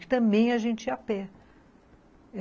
Que também a gente ia a pé.